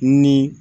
Ni